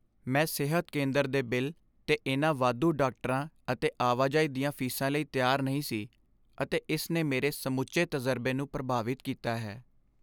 ਮੈਂ ਸਿਹਤ ਕੇਂਦਰ ਦੇ ਬਿੱਲ 'ਤੇ ਇਹਨਾਂ ਵਾਧੂ ਡਾਕਟਰਾਂ ਅਤੇ ਆਵਾਜਾਈ ਦੀਆਂ ਫੀਸਾਂ ਲਈ ਤਿਆਰ ਨਹੀਂ ਸੀ, ਅਤੇ ਇਸ ਨੇ ਮੇਰੇ ਸਮੁੱਚੇ ਤਜ਼ਰਬੇ ਨੂੰ ਪ੍ਰਭਾਵਿਤ ਕੀਤਾ ਹੈ।